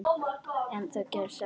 En það gerist ekkert.